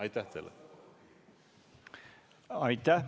Aitäh!